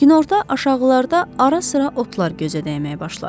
Günorta aşağılarda ara-sıra otlar gözə dəyməyə başladı.